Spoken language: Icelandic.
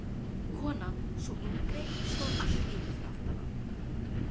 Konan, sú yngri, stóð allt í einu fyrir aftan hann.